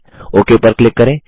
okay पर click करें